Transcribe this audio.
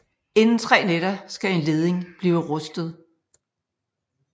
Inden tre nætter skal en leding blive rustet